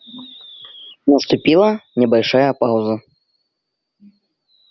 наступила небольшая пауза